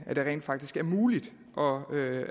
at det rent faktisk er muligt og